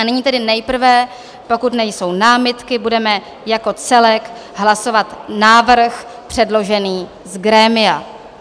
A nyní tedy nejprve, pokud nejsou námitky, budeme jako celek hlasovat návrh předložený z grémia.